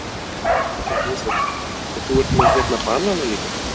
Erla Hlynsdóttir: Og þú ert með hérna banana líka?